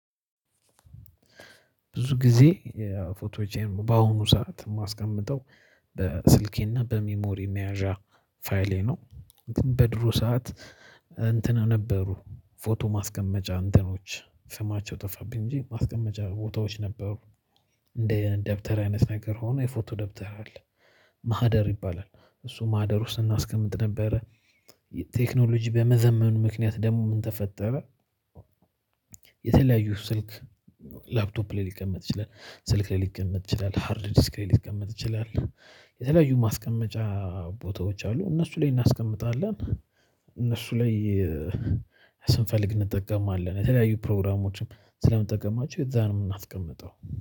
ብዙ ጊዜ ፎቶዎችን በአሁኑ ሰዓት ማስቀመጠው በስልኬና በሚሞሪ መያዣ ፋይሌ ነው። በድሮ ሰዓት እንትን ነበሩ ፎቶ ማስቀመጫ እንትኖች ስማቸው ጠፋብኝ እንጂ ማስቀመጫ ፎቶዎች ነበሩ። እንደ ደብተር አይነት ነገር ሆኖ የፎቶ ደብተር አለ። ማህደር ይባላል። እሱ ማህደር ውስጥ እናስቀምጥ ነበረ። ቴክኖሎጂ በመዘመኑ ምክንያት ደግሞ ምን ተፈጠረ? የተለያዩ ስልክ ላፕቶፕ ላይ ሊቀመጥ ይችላል? ስልክ ላይ ሊቀመጥ ይችላል። ሃርድ ዲስክ ላይ ሊቀመጥ ይችላል። የተለያዩ ማስቀመጫ ቦታዎች አሉ። እነሱ ላይ እናስቀምጣለን። እነሱ ላይ ስንፈልግ እንጠቀማለን የተለያዩ ፕሮግራሞችም ስለምንጠቀማችሁ የዛንም እናስቀምጠው